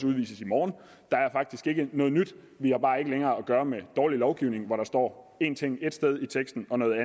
udvises i morgen der er faktisk ikke noget nyt vi har bare ikke længere at gøre med dårlig lovgivning hvor der står én ting ét sted i teksten og noget